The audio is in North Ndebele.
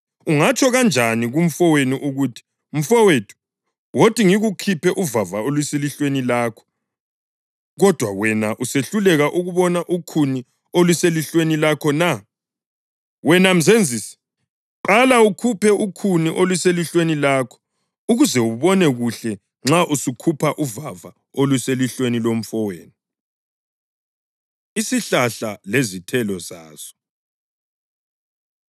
Ungatsho kanjani kumfowenu ukuthi, ‘Mfowethu, wothi ngikukhuphe uvava oluselihlweni lakho,’ kodwa wena usehluleka ukubona ukhuni oluselihlweni lakho na? Wena mzenzisi, qala ukhuphe ukhuni oluselihlweni lakho ukuze ubone kuhle nxa usukhupha uvava oluselihlweni lomfowenu.” Isihlahla Lezithelo Zaso